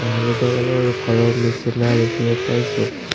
হালধীয়া কালাৰ ৰ ঘৰৰ নিচিনা দেখিব পাইছোঁ।